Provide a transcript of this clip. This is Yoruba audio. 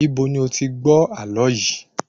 Ibo ni o ti gbó àlọ yìí?